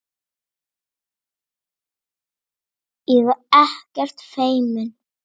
Ég er ekkert feimin.